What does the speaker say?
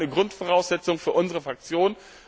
Das war eine Grundvoraussetzung für unsere Fraktion.